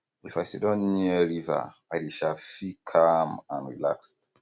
if i siddon near river i dey um feel calm and relaxed